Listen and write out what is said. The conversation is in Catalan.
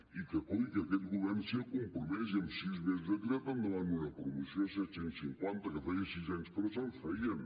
i que coi que aquest govern s’hi ha compromès i en sis mesos ha tirat endavant una promoció de set cents i cinquanta que feia sis anys que no se’n feien